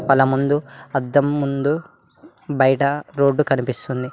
వాళ్ళ ముందు అద్దం ముందు బయట రోడ్డు కనిపిస్తుంది.